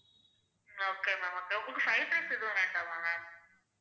okay ma'am okay உங்களுக்கு fried rice எதுவும் வேண்டாமா ma'am